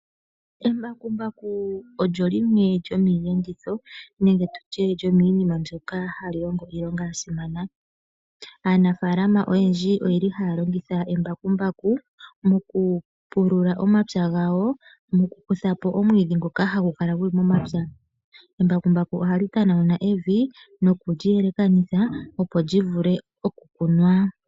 Embakumbaku olyo limwe lyomiiyenditho nenge tu tye lyomiinima mbyoka hayi longo iilonga ya simana. Aanafalama oyendji ohaya longitha embakumbaku mokupulula omapya gawo, mokukutha po omwidhi ngoka hagu kala momapya. Embakumbaku ohali tanauna evi nokuli yelekanitha opo li vulwe okukunwa.